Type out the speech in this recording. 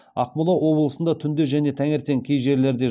ақмола облысында түнде және таңертең кей жерлерде